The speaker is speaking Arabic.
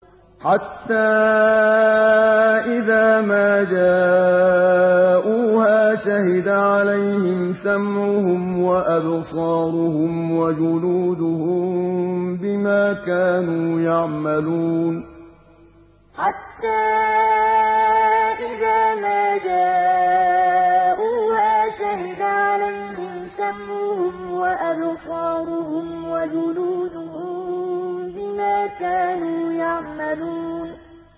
حَتَّىٰ إِذَا مَا جَاءُوهَا شَهِدَ عَلَيْهِمْ سَمْعُهُمْ وَأَبْصَارُهُمْ وَجُلُودُهُم بِمَا كَانُوا يَعْمَلُونَ حَتَّىٰ إِذَا مَا جَاءُوهَا شَهِدَ عَلَيْهِمْ سَمْعُهُمْ وَأَبْصَارُهُمْ وَجُلُودُهُم بِمَا كَانُوا يَعْمَلُونَ